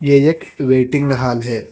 ये एक waiting hall है।